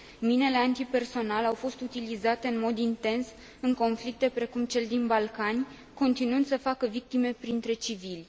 Minele antipersonal au fost utilizate în mod intens în conflicte precum cel din Balcani, continuând să facă victime printre civili.